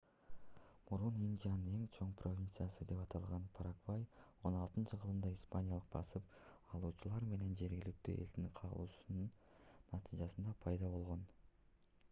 мурун индиянын эң чоң провинциясы деп аталган парагвай 16-кылымда испаниялык басып алуучулар менен жергиликтүү элдин кагылышуусунун натыйжасында пайда болгон